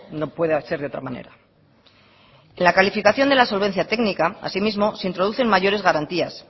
no puede ser de otra manera en la calificación de la solvencia técnica así mismo se introducen mayores garantías